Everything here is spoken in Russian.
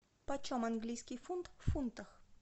почем английский фунт в фунтах